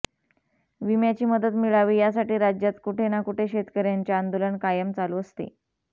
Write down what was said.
विम्याची मदत मिळावी यासाठी राज्यात कुठे ना कुठे शेतकऱ्यांचे आंदोलन कायम चालू असते